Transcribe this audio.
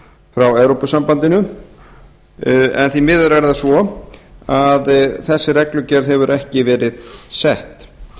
frá evrópusambandinu en því miður er það svo að þessi reglugerð hefur ekki verið sett